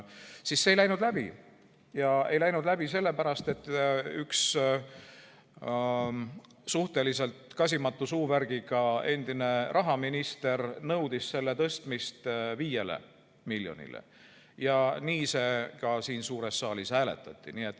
Aga see ei läinud läbi, ja ei läinud läbi sellepärast, et üks suhteliselt kasimatu suuvärgiga endine rahaminister nõudis selle tõstmist 5 miljonile ja nii seda siin suures saalis ka hääletati.